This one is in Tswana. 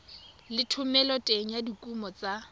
le thomeloteng ya dikuno tsa